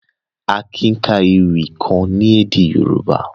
Akin ka èwi kan ni èdè Yorùbá.